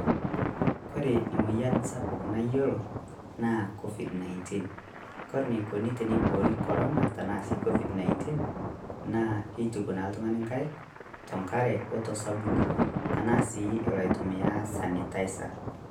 Kore moyian sapuk naiyeloo naa COVID-19. Kore neikoni teneboori korana tana sii COVID-19 naa keituuk naa ltung'ani nkaik to nkaare oto sabuni tanaa sii eloo aitumia sanitizer.